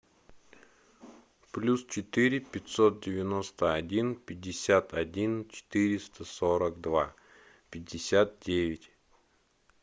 плюс четыре пятьсот девяносто один пятьдесят один четыреста сорок два пятьдесят девять